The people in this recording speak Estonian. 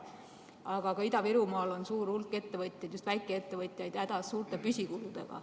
Aga ka Ida-Virumaal on suur hulk ettevõtjaid, just väikeettevõtjaid, hädas suurte püsikuludega.